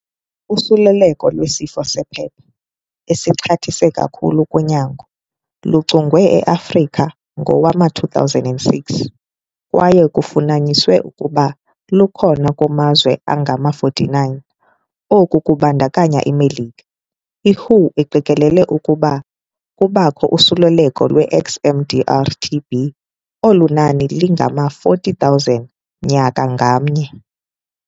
Usuleleko lwesifo sephepha esixhathisa kakhulu kunyango luchongwe eAfrika ngowama-2006, kwaye kufunyaniswe ukuba lukhona kumazwe angama-49 - oku kubandakanya iMelika. I-WHO iqikelela ukuba kubakho usuleleko lweXMDR-TB olunani lingama-40 000 nyaka ngamnye.